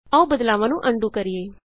ਆਉ ਬਦਲਾਵਾਂ ਨੂੰ ਅਨਡੂ ਕਰੀਏ